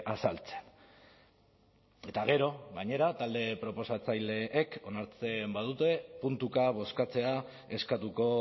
azaltzen eta gero gainera talde proposatzaileek onartzen badute puntuka bozkatzea eskatuko